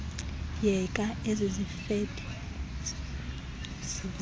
yeka ezizifede zibini